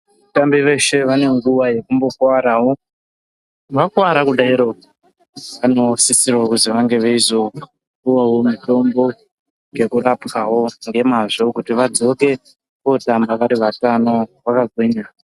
Vatambi veshe vane nguwa yekumbokuwarawo, vakuwara kudaro vanosisira kuti vange veizopuwawo mutombo yekurapwao ngemazvo kuti vadzoke kootamba vari vatano vakagwinya.